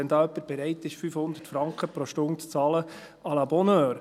Wenn da jemand bereit ist, 500 Franken pro Stunde zu bezahlen, à la bonne heure.